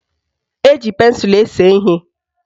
Eji pensụlụ ese ihe.